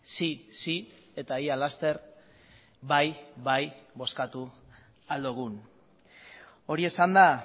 sí sí eta ia laster bai bai bozkatu ahal dugun hori esanda